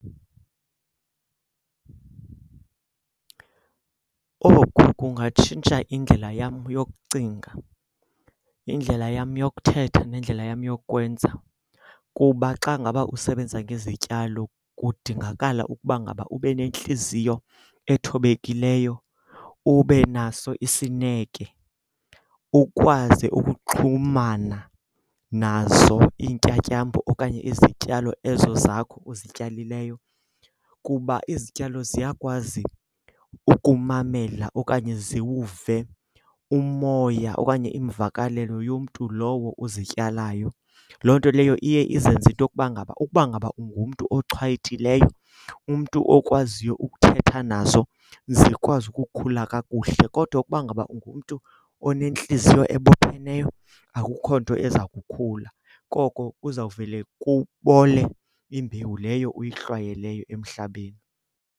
Oku kungatshintsha indlela yam yokucinga, indlela yam yokuthetha nendlela yam yokwenza kuba xa ngaba usebenza ngezityalo kudingakala ukuba ngaba ube nentliziyo ethobekileyo, ube naso isineke, ukwazi ukuxhumana nazo iintyatyambo okanye izityalo ezo zakho uzityalileyo. Kuba izityalo ziyakwazi ukumamela okanye ziwuve umoya okanye iimvakalelo yomntu lowo uzityalayo. Loo nto leyo iye izenze into yokuba ngaba ukuba ngaba ungumntu ochwayitileyo, umntu okwaziyo ukuthetha nazo zikwazi ukukhula kakuhle kodwa ukuba ngaba ungumntu onentliziyo ebopheneyo akukho nto eza kukhula. Koko kuzawuvele kubole imbewu leyo uyihlwayeleyo emhlabeni.